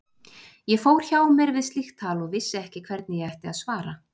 Ég fór hjá mér við slíkt tal og vissi ekki hvernig ég ætti að svara.